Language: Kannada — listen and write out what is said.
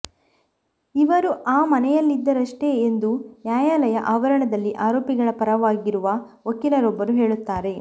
ಇವರು ಆ ಮನೆಯಲ್ಲಿದ್ದರಷ್ಟೆ ಎಂದು ನ್ಯಾಯಾ ಲಯದ ಆವರಣದಲ್ಲಿ ಆರೋಪಿಗಳ ಪರವಾಗಿರುವ ವಕೀಲರೊಬ್ಬರು ಹೇಳುತ್ತಾರೆ